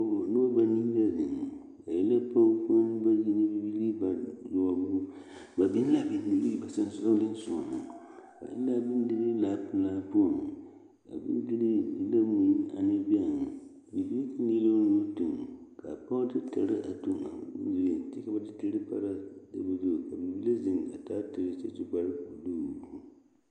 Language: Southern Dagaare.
Noba banii la zeŋ ba e la pɔɡekponne bayi ane bibiiri bayoɔbo ba biŋ la bondirii ba sonsoolensoɡa ba eŋ la a bondirii laapelaa poɔŋ a bondirii e la mui ane bɛŋ bibile de la o nu tuɡi ka a pɔɡe de tere a tuɡi a bondiriŋ kyɛ ka ba de tere a pare a tabuli zu ka bibile a zeŋ a taa tere a su kparbuluu.